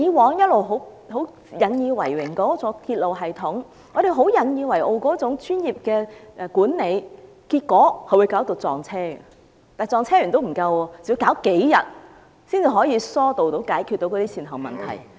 我們過去一直引以為榮的鐵路系統，引以自豪的專業管理，結果卻引致列車相撞，而且不單列車相撞，更要處理數天才能疏導、解決善後問題。